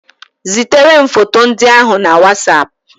Zitere m foto ndị ahụ na Wasap.